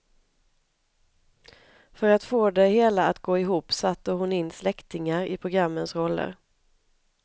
För att få det hela att gå ihop satte hon in släktingar i programmens roller.